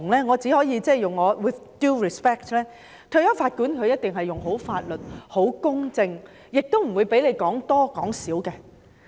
我只可 with due respect 地說，退休法官一定運用法律、秉持公正，不會讓人說多或說少。